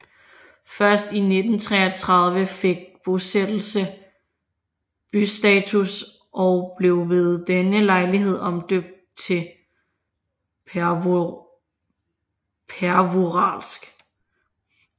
Først i 1933 fik bosættelse bystatus og blev ved denne lejlighed omdøbt til Pervouralsk